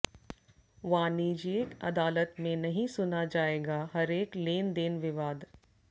वाणिज्यिक अदालत में नहीं सुना जाएगा हरेक लेनदेन विवाद